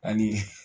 Ani